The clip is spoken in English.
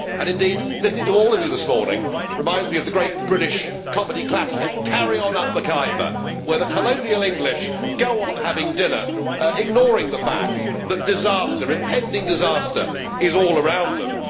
Indeed, listening to all of you this morning reminds me of the great British comedy classic Carry On Up the Khyber where the colonial English go on having dinner, ignoring the fact that impending disaster is all around them.